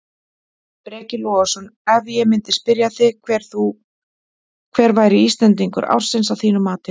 Breki Logason: Ef ég myndi spyrja þig hver væri Íslendingur ársins að þínu mati?